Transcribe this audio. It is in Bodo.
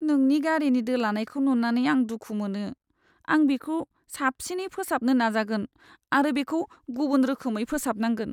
नोंनि गारिनि दोलानायखौ नुनानै आं दुखु मोनो। आं बेखौ साबसिनै फोसाबनो नाजागोन आरो बेखौ गुबुन रोखोमै फोसाबनांगोन।